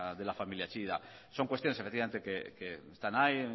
de la familia chillida son cuestiones efectivamente que están ahí